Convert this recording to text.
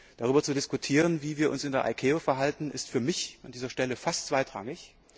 Darüber zu diskutieren, wie wir uns in der ICAO verhalten, ist für mich an dieser Stelle fast zweitrangig.